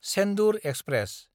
Chendur express